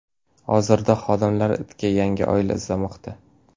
Hozirda xodimlar itga yangi oila izlamoqda.